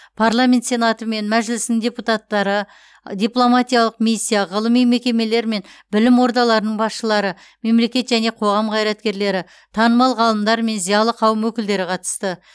парламент сенаты мен мәжілісінің депуттары дипломатиялық миссия ғылыми мекемелер мен білім ордаларының басшылары мемлекет және қоғам қайраткерлері танымал ғалымдар мен зиялы қауым өкілдері қатысты